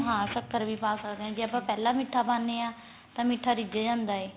ਹਾਂ ਸ਼ਕਰ ਵੀ ਪਾ ਸਕਦੇ ਆਜੇ ਆਪਾਂ ਪਹਿਲਾਂ ਮੀਠਾ ਪਾਨੇ ਆ ਯਾਂ ਮੀਠੇ ਰਿਜ ਜਾਂਦਾ ਏ